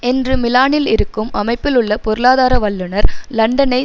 என்று மிலானில் இருக்கும் அமைப்பிலுள்ள பொருளாதார வல்லுனர் லண்டனை